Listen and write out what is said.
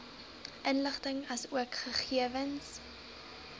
inligting asook gegewens